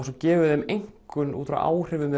svo gefum við þeim einkunn út frá áhrifum